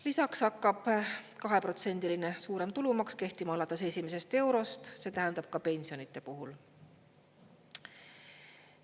Lisaks hakkab 2%-line suurem tulumaks kehtima alates esimesest eurost, see tähendab ka pensionide puhul.